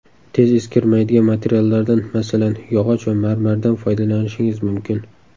Tez eskirmaydigan materiallardan masalan, yog‘och va marmardan foydalanishingiz mumkin.